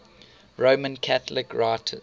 roman catholic writers